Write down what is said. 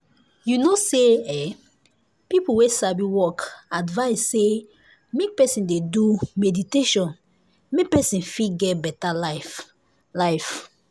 you know say eeeh people wey sabi work advice say make person dey do meditation make person fit get better life. life.